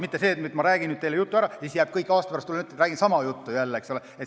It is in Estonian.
Mitte nii, et ma räägin nüüd teile jutu ära ja siis jääb kõik samamoodi, aasta pärast tulen ja räägin jälle sama juttu.